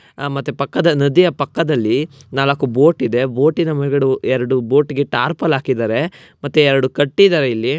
ಆ ಮತ್ತೆ ಪಕ್ಕ ನದಿಯ ಪಕ್ಕದಲ್ಲಿ ನಾಲಕ್ಕು ಬೋಟು ಇದೆ ಬೋಟಿನ ಮೇಲ್ಗಡೆ ಎರೆಡು ಬೋಟುಗೆ ಟರ್ಪಲ್ ಹಾಕಿದರೆ ಮತ್ತೆ ಎರೆಡು ಕಟ್ಟಿದರೆ ಇಲ್ಲಿ --